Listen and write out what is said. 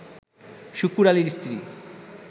শুকুর আলীর স্ত্রী